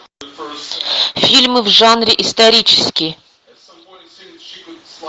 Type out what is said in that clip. фильмы в жанре исторический